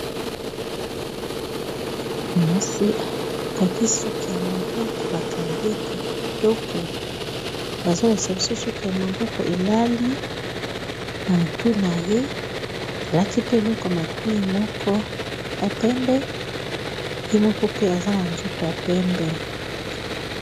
Mwaasi akangi suki ya maboko ba kangi ye kitoko, bazo lakisa biso suki ya maboko elali na motu na ye. Alati pe eloko ya matoyi moko ya pembe, ye moko pe aza na nzoto ya pembe.